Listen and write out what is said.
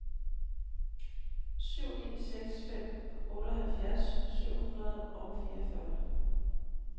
syv ni seks fem otteoghalvfjerds syv hundrede og fireogfyrre